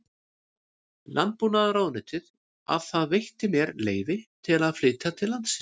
Landbúnaðarráðuneytið að það veitti mér leyfi til að flytja til landsins